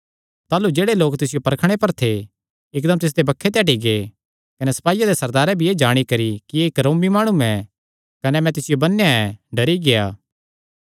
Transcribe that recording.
ताह़लू जेह्ड़े लोक तिसियो परखणे पर थे इकदम तिसदे बक्खे ते हटी गै कने सपाईयां दे सरदारे भी एह़ जाणी करी कि एह़ रोमी माणु ऐ कने मैंई तिसियो बन्नेया ऐ डरी गेआ